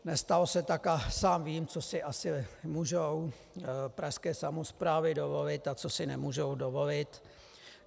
Nestalo se tak a sám vím, co si asi můžou pražské samosprávy dovolit a co si nemůžou dovolit.